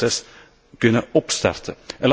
Dat zou het proces kunnen opstarten.